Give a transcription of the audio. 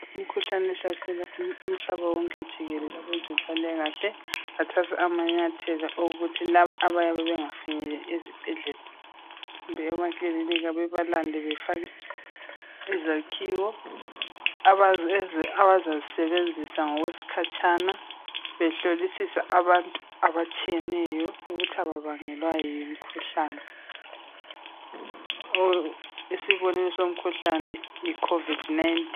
Imikhuhlane ehlasela umhlaba wonke jikelele kwabezempilakahle bathatha amanyathela okuthi labo abayabe bengafinyeleli ezibhedlela kumbe emakilinika bebalande befake izakhiwo abazazisebenzisa ngokweskhatsha behlolisisa abantu ukuthi ababangelwa yimikhuhlane isibonelo somkhuhlane yi covid 19.